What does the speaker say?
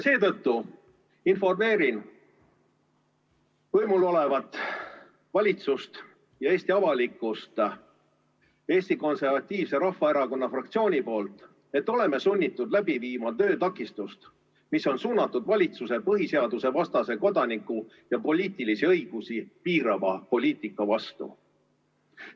Seetõttu informeerin võimul olevat valitsust ja Eesti avalikkust Eesti Konservatiivse Rahvaerakonna fraktsiooni nimel, et oleme sunnitud läbi viima töötakistust, mis on suunatud valitsuse põhiseadusevastase kodaniku- ja poliitilisi õigusi piirava poliitika vastu.